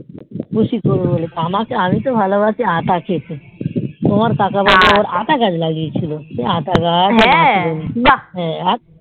খুশি করবে বলে আমি তো হলো বেশি আটা খেতে তোমার কাকা বুবু আবার এটা গাছ লাগিয়ে ছিল সে এটা গাছ আর